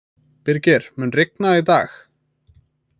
Birgir, mun rigna í dag?